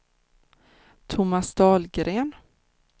Thomas Dahlgren